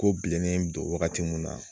Ko bilennen bɛ don wagati mun na